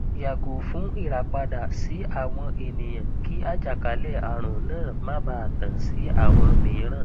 yago fun irapada si awọn eniyan ki ajakalẹarun naa ma baa tan si awọn miiran